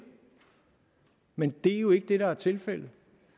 men det er jo ikke det der er tilfældet